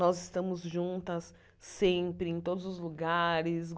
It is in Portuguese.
Nós estamos juntas sempre, em todos os lugares.